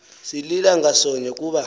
silila ngasonye kuba